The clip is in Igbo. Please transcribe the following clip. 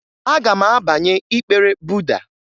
Aga m abanye ịkpere Buda